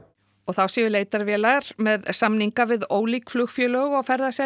og þá séu leitarvélar með samninga við ólík flugfélög og